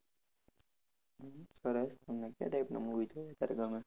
સરસ તમને ક્યા type ના movie જોવા અત્યારે ગમે?